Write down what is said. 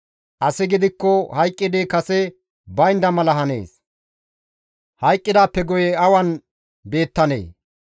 Asi gidikko hayqqidi kase baynda mala hanees; hayqqidaappe guye awan beettanee?